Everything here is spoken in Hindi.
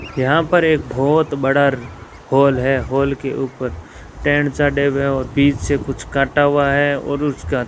यहां पर एक बहोत बड़ा हॉल है हॉल के ऊपर टेंट और बीच से कुछ कटा हुआ है और उसका --